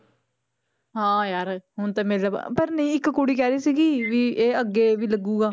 ਹਾਂ ਯਾਰ ਹੁਣ ਤੇ ਮੇਲਾ ਬ~ ਪਰ ਨਹੀਂ ਇੱਕ ਕੁੜੀ ਕਹਿ ਰਹੀ ਸੀਗੀ ਵੀ ਇਹ ਅੱਗੇ ਵੀ ਲੱਗੇਗਾ,